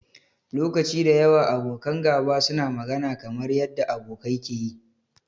Lokaci da yawa, abokan gaba suna magana kamar yanda abokai ke yi.